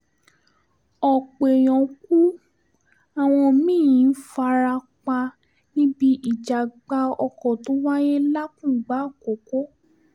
ọ̀pọ̀ èèyàn kú àwọn mí-ín fara pa níbi ìjàgbá oko tó wáyé làkùngbà àkọ́kọ́